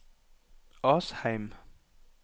Asheim